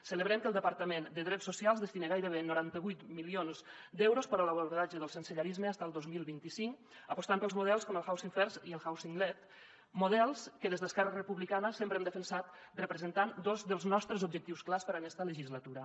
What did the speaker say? celebrem que el departament de drets socials destini gairebé noranta vuit milions d’euros a l’abordatge del sensellarisme fins al dos mil vint cinc apostant pels models com el housing firstled models que des d’esquerra republicana sempre hem defensat representant dos dels nostres objectius clars per a aquesta legislatura